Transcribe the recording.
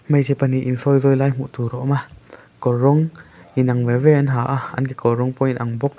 hmeichhe pahnih in sawi zawi lai hmuh tur a awm a kawr rawng inang veve an ha a an kekawr rawng pawh a inang bawk.